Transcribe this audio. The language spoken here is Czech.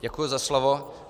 Děkuji za slovo.